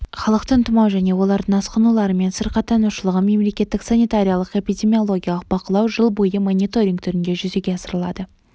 халықтың тұмау және олардың асқынуларымен сырқаттанушылығын мемлекеттік санитариялық-эпидемиологиялық бақылау жыл бойы мониторинг түрінде жүзеге асырылады